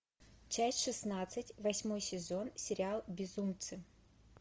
часть шестнадцать восьмой сезон сериал безумцы